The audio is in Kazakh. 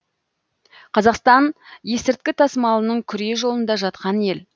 қазақстан есірткі тасымалының күре жолында жатқан ел